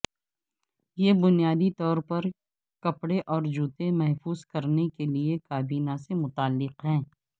یہ بنیادی طور پر کپڑے اور جوتے محفوظ کرنے کے لئے کابینہ سے متعلق ہے